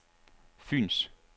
Fyens